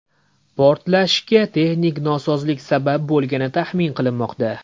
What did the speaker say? Portlashga texnik nosozlik sabab bo‘lgani taxmin qilinmoqda.